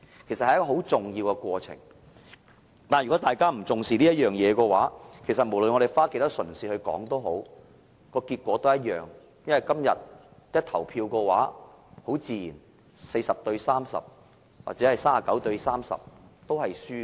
但是，如果大家對此是不重視的話，無論我們花多少唇舌討論，今天投票的結果自然都是一樣，無論是 40:30 或是 39:30， 都是輸的。